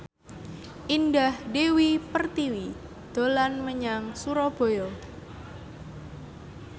Indah Dewi Pertiwi dolan menyang Surabaya